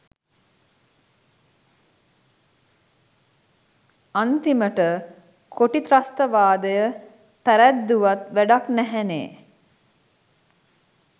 අන්තිමට කොටි ත්‍රස්තවාදය පැරැද්දුවත් වැඩක් නැහැනේ.